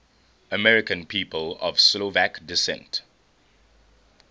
american people of slovak descent